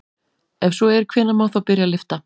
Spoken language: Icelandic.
Ef svo er hvenær má þá byrja að lyfta?